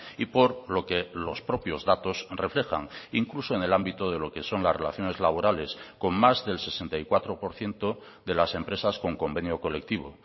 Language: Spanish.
y por lo que los propios datos reflejan incluso en el ámbito de lo que son las relaciones laborales con más del sesenta y cuatro por ciento de las empresas con convenio colectivo